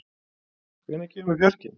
, hvenær kemur fjarkinn?